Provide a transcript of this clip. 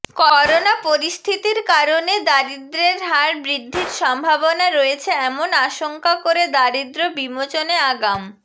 corona পরিস্থির কারণে দারিদ্র্র্যের হার বৃদ্ধির সম্ভাবনা রয়েছে এমন আশঙ্কা করে দারিদ্র বিমোচনে আগাম